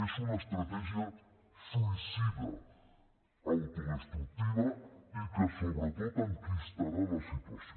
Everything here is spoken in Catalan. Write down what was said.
és una estratègia suïcida autodestructiva i que sobretot enquistarà la situació